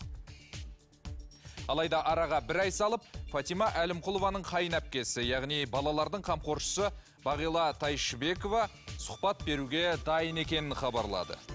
алайда араға бір ай салып фатима әлімқұлованың қайынәпкесі яғни балалардың қамқоршысы бағила тайшыбекова сұхбат беруге дайын екенін хабарлады